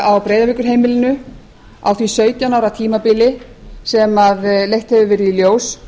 á breiðavíkurheimilinu á því sautján ára tímabili sem leitt hefur verið í ljós